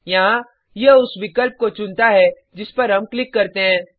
यहाँ यह उस विकल्प को चुनता है जिस पर हम क्लिक करते हैं